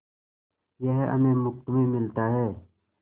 यह हमें मुफ्त में मिलता है